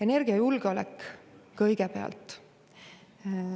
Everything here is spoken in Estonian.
Energiajulgeolek kõigepealt.